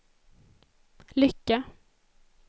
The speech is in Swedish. lycka